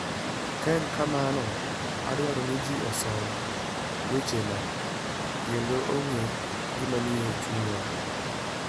Ka en kamano, adwaro ni ji osom wechena kendo ong'e gima nie chunya.